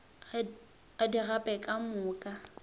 a di gape ka moka